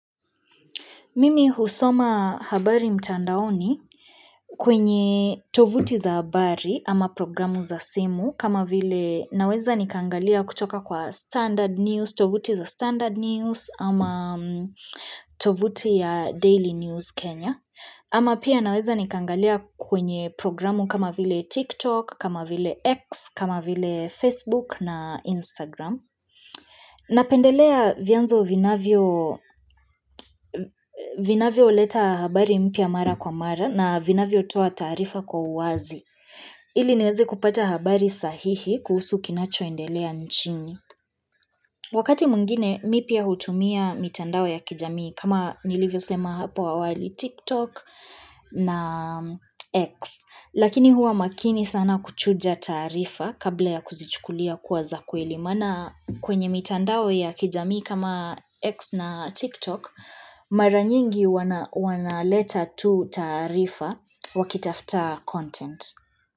Mimi husoma habari mtandaoni kwenye tovuti za habari ama programu za simu kama vile naweza nikaangalia kutoka kwa standard news, tovuti za standard news ama tovuti ya daily news Kenya. Ama pia naweza nikaangalia kwenye programu kama vile TikTok, kama vile X, kama vile Facebook na Instagram. Na pendelea vianzo vinavyo leta habari mpya mara kwa mara na vinavyo toa taarifa kwa uwazi. Ili niwezi kupata habari sahihi kuhusu kinacho indelea nchini. Wakati mwngine, mimi pia hutumia mitandao ya kijamii kama nilivyo sema hapo awali TikTok na X. Lakini huwa makini sana kuchuja taarifa kabla ya kuzichukulia kuwa za kweli. Maana kwenye mitandao ya kijami kama X na TikTok, mara nyingi wana leta tu taarifa wakitafta content.